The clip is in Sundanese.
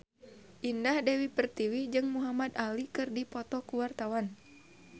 Indah Dewi Pertiwi jeung Muhamad Ali keur dipoto ku wartawan